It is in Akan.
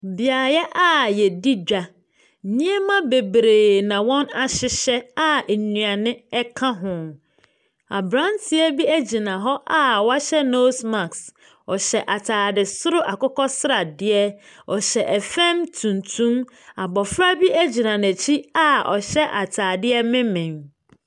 Beaeɛ a yedi dwa. Nneɛma bebree na wɔn ahyehyɛ a nnuane ɛka ho. Abranteɛ bi egyina hɔ a wahyɛ noos maks. Ɔhyɛ ataade soro akokɔsradeɛ. Ɔhyɛ ɛfam tuntum. Abofra bi egyina n'akyi a ɔhyɛ ataadeɛ menmen.